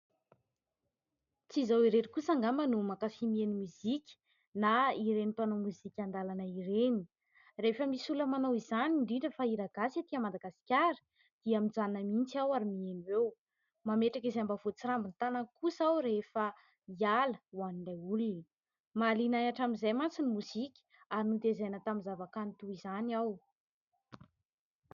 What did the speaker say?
Tsy izaho irery kosa angamba no mankafy mihaino mozika na ireny mpanao mozika an-dalana ireny. Rehefa misy olona manao izany, indrindra fa hiragasy ety Madagasikara dia mijanona mihitsy aho ary mihaino eo. Mametraka izay mba voatsirambin' ny tanana kosa aho rehefa hiala, ho an'ilay olona. Mahaliana ahy hatramin'izay mantsy ny mozika ary notaizana tamin'ny zavakanto toy izany aho.